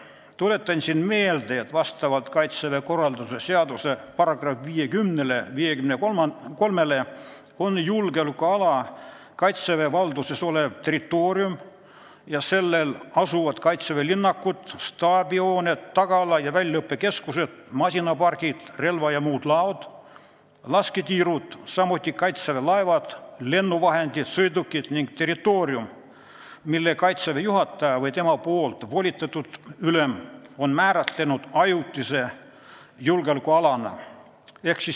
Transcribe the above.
Tuletan meelde, et vastavalt Kaitseväe korralduse seaduse §-le 53 on julgeolekuala Kaitseväe valduses olev territoorium ja sellel asuvad Kaitseväe linnakud, staabihooned, tagala ja väljaõppekeskused, masinapargid, relva- ja muud laod, lasketiirud, samuti Kaitseväe laevad, lennuvahendid, sõidukid ning territoorium, mille Kaitseväe juhataja või tema volitatud ülem on määratlenud ajutise julgeolekualana.